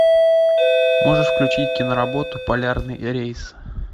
можешь включить киноработу полярный рейс